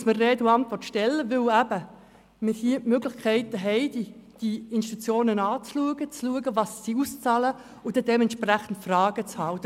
Die Regierungsrätin muss mir Rede und Antwort stehen, denn hier haben wir die Möglichkeiten, diese Institutionen zu beleuchten, deren Auszahlungen zu prüfen und die entsprechenden Fragen zu stellen.